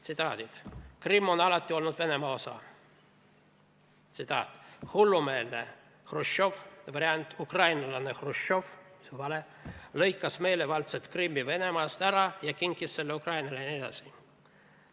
Tsitaadid: "Krimm on alati olnud Venemaa osa", "Hullumeelne Hruštšov lõikas meelevaldselt Krimmi Venemaast ära ja kinkis selle Ukrainale" jne.